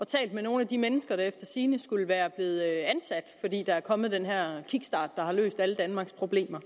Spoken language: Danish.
talt med nogle af de mennesker der efter sigende skulle være blevet ansat fordi der er kommet den her kickstart der har løst alle danmarks problemer